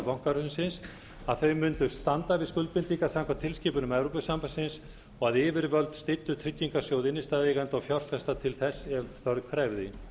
bankahrunsins að þau mundu standa við skuldbindingar samkvæmt tilskipunum evrópusambandsins og að yfirvöld styddu tryggingarsjóð innstæðueigenda og fjárfesta til þess ef þörf krefði